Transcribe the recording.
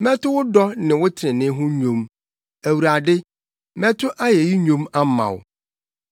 Mɛto wo dɔ ne wo trenee ho nnwom; Awurade, mɛto ayeyi nnwom ama wo.